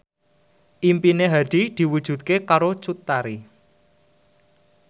impine Hadi diwujudke karo Cut Tari